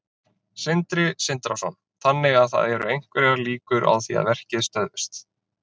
Sindri Sindrason: Þannig að það eru einhverjar líkur á því að verkið stöðvist?